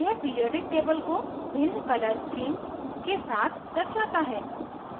यह periodic table को भिन्न color schemes के साथ दर्शाता है